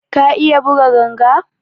Ka iya buga ganga?